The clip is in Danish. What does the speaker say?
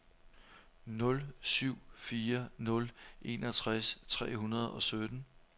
nul syv fire nul enogtres tre hundrede og sytten